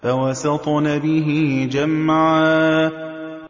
فَوَسَطْنَ بِهِ جَمْعًا